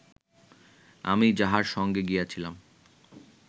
আমি যাঁহার সঙ্গে গিয়াছিলাম